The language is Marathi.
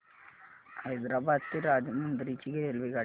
हैदराबाद ते राजमुंद्री ची रेल्वेगाडी